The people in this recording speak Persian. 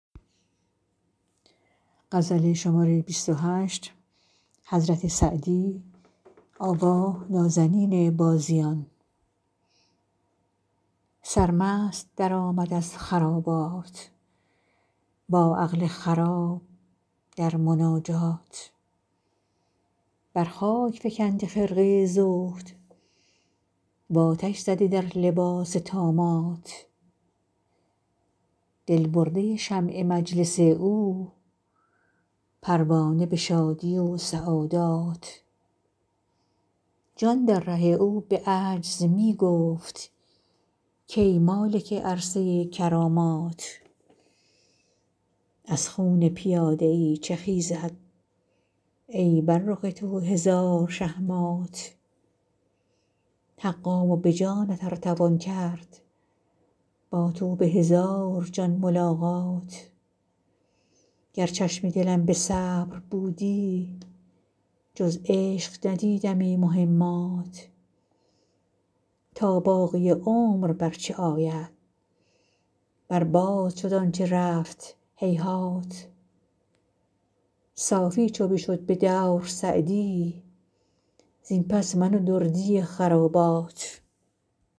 سرمست درآمد از خرابات با عقل خراب در مناجات بر خاک فکنده خرقه زهد و آتش زده در لباس طامات دل برده شمع مجلس او پروانه به شادی و سعادات جان در ره او به عجز می گفت کای مالک عرصه کرامات از خون پیاده ای چه خیزد ای بر رخ تو هزار شه مات حقا و به جانت ار توان کرد با تو به هزار جان ملاقات گر چشم دلم به صبر بودی جز عشق ندیدمی مهمات تا باقی عمر بر چه آید بر باد شد آن چه رفت هیهات صافی چو بشد به دور سعدی زین پس من و دردی خرابات